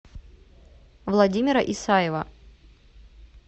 владимира исаева